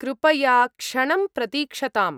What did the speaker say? कृपया क्षणं प्रतीक्षताम्।